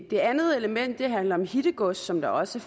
det andet element handler om hittegods som der også